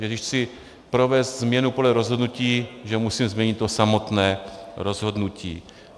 Že když chci provést změnu podle rozhodnutí, že musím změnit to samotné rozhodnutí.